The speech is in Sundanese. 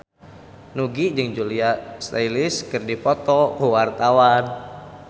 Nugie jeung Julia Stiles keur dipoto ku wartawan